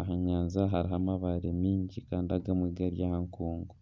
Aha nyanja hariho amabaare mingi kandi agamwe gari aha nkuungu.